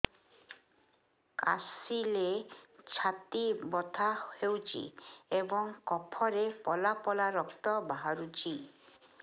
କାଶିଲେ ଛାତି ବଥା ହେଉଛି ଏବଂ କଫରେ ପଳା ପଳା ରକ୍ତ ବାହାରୁଚି